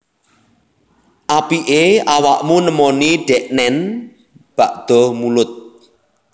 Apike awakmu nemoni deknen bada mulud